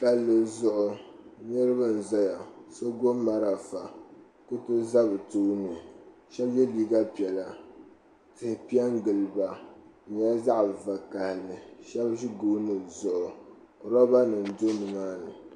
Palli zuɣu niriba n zaya la so gbibi marafa kuriti za bɛ tooni sheba ye liiga piɛlla tihi piɛ n gili ba di nyɛla zaɣa vakahali sheba ʒi gooni zuɣu loba nima do nimaani.